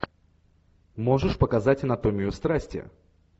можешь показать анатомию страсти